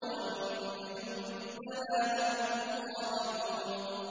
وَإِنَّ جُندَنَا لَهُمُ الْغَالِبُونَ